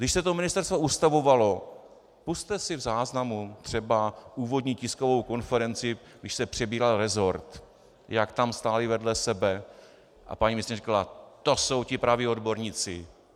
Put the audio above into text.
Když se to ministerstvo ustavovalo, pusťte si v záznamu třeba úvodní tiskovou konferenci, když se přebíral resort, jak tam stáli vedle sebe a paní ministryně říkala: "To jsou ti praví odborníci.